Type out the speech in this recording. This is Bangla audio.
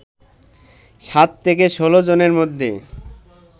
৭ থেকে ১৬ জুনের মধ্যে